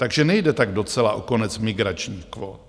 Takže nejde tak docela o konec migračních kvót.